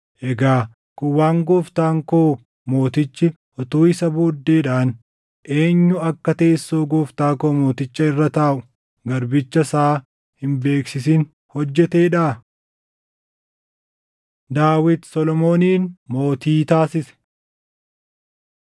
Egaa kun waan gooftaan koo mootichi utuu isa booddeedhaan eenyu akka teessoo gooftaa koo mootichaa irra taaʼu garbicha isaa hin beeksisin hojjeteedhaa?” Daawit Solomoonin Mootii Taasise 1:28‑53 kwf – 1Sn 29:21‑25